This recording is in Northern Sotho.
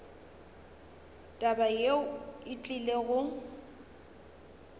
taba yeo e tlile go